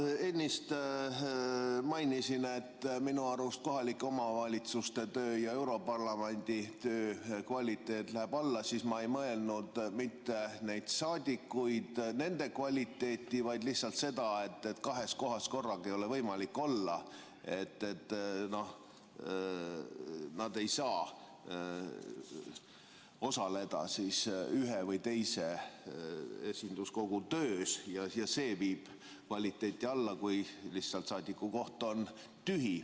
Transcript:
Kui ma ennist mainisin, et minu arust kohalike omavalitsuste töö ja europarlamendi töö kvaliteet läheb alla, siis ma ei mõelnud mitte neid parlamendiliikmeid ega nende kvaliteeti, vaid lihtsalt seda, et kahes kohas korraga ei ole võimalik olla – nad ei saa osaleda ühe või teise esinduskogu töös ja see viib kvaliteeti alla, kui lihtsalt saadiku koht on tühi.